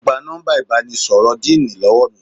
Ó gba nọ́mbà ìbánisọ̀rọ̀ díìnì lọ́wọ́ mi